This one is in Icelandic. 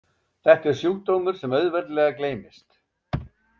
Þetta er sjúkdómur sem auðveldlega gleymist.